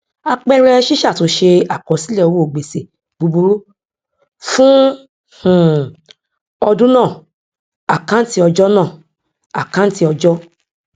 àpẹẹrẹ ṣíṣàtúnṣe àkọsílẹ owó gbèsè búburú fún um ọdún náà àkáǹtí ọjọ náà àkáǹtí ọjọ